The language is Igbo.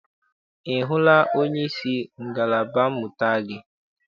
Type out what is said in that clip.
Ị hụla onyeisi ngalaba mmụta gị?